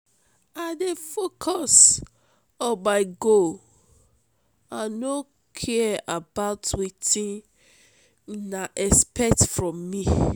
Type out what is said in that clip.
i dey focus on my goal i no care about wetin una expect from me.